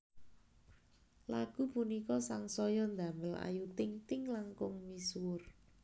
Lagu punika sangsaya ndamel Ayu Ting Ting langkung misuwur